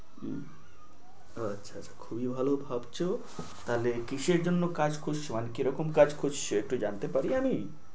হুহ, আচ্ছা আচ্ছা আচ্ছা খুবই ভালো ভাবছো। তাহলে কিসের জন্য কাজ খুঁজছো মানে কি রকম কাজ খুঁজছো, একটু জানতে পারি আমি?